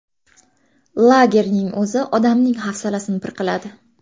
Lagerning o‘zi odamning hafsalasini pir qiladi.